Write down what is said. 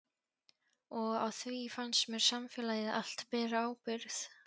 Og á því fannst mér samfélagið allt bera ábyrgð.